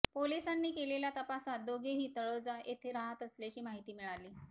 पोलिसांनी केलेल्या तपासात दोघेही तळोजा येथे राहत असल्याची माहिती मिळाली